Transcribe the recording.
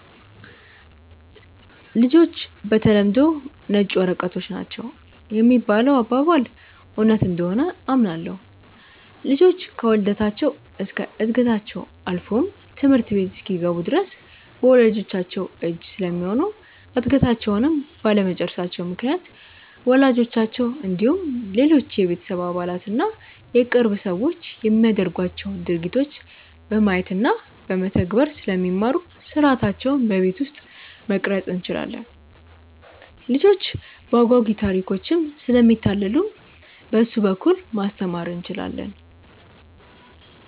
''ልጆች በተለምዶ ነጭ ወረቀቶች ናቸው ''የሚባለው አባባል እውነት እንደሆነ አምናለሁ። ልጆች ከውልደታቸው እስከ ዕድገታቸው አልፎም ትምህርት ቤት እስኪገቡ ድረስ በወላጅቻቸው እጅ ስለሚሆኑ እድገታቸውንም ባለመጨረሳቸው ምክንያት ወላጆቻቸው እንዲሁም ሌሎች የቤተሰብ አባላት እና የቅርብ ሰዎች የሚያደርጓቸውን ድርጊቶች በማየት እና በመተግበር ስለሚማሩ ሥርዓታቸውን በቤት ውስጥ መቅረፅ እንችላለን። ልጆች በአጓጊ ታሪኮችም ስለሚታለሉ በእሱ በኩል ማስተማር እንችላለን።